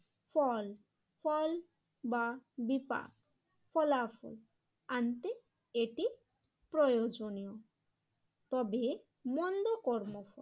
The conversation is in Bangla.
ফল ফল বা বিপাক ফলাফল আনতে এটি প্রয়োজনীয়। তবে মন্দকর্ম